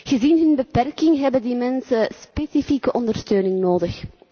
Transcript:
Gezien hun beperking hebben die mensen specifieke ondersteuning nodig.